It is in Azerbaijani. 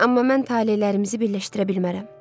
Amma mən talelərimizi birləşdirə bilmərəm.